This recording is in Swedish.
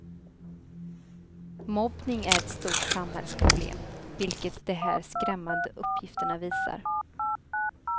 Mobbning är ett stort samhällsproblem, vilket de här skrämmande uppgifterna visar.